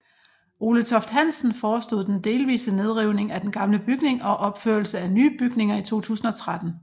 Ole Toft Hansen forestod den delvise nedrivning af den gamle bygning og opførelse af nye bygninger i 2013